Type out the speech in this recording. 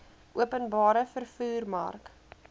openbare vervoer mark